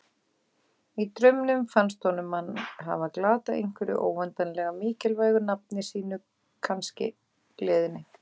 Í draumnum fannst honum hann hafa glatað einhverju óendanlega mikilvægu, nafni sínu kannski, gleðinni.